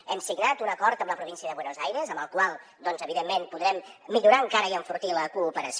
hem signat un acord amb la província de buenos aires amb el qual evidentment podrem millorar encara i enfortir la cooperació